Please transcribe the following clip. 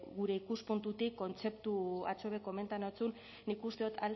gure ikuspuntutik kontzeptu atzo be komentatu nizun nik uste dut